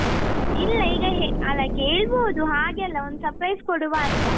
ಇಲ್ಲ ಈಗ ಅಲ್ಲ ಕೇಳ್ಬೋದು ಹಾಗೆ ಅಲ್ಲ ಒಂದ್ surprise ಕೊಡುವ ಅಂತ.